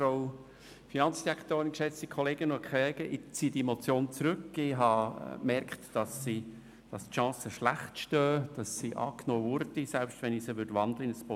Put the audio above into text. Ich ziehe diese Motion zurück, da ich gemerkt habe, dass die Chancen schlecht stehen, dass sie angenommen würde, selbst wenn ich sie in ein Postulat umwandeln würde.